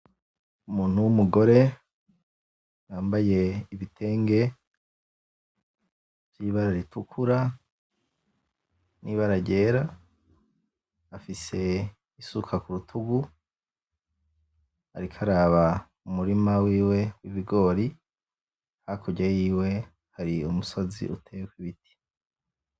Umuntu w'umugore yambaye ibitenge vy'ibara ritukura n'ibara ryera afise isuka k'urutugu ariko araba umurima wiwe w'ibigori hakurya yiwe hari umusozi uteyeko ibiti.